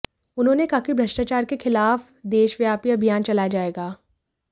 उन्होंने कहा कि भ्रष्टाचार के खिलाफ देशव्यापी अभियान चलाया जाएगा